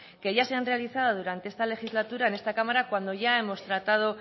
que ya se han realizado durante esta legislatura en esta cámara cuando ya hemos tratado